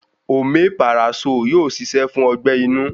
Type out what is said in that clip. Omeparasóò yóò ṣiṣẹ́ fún ọgbẹ́-inú.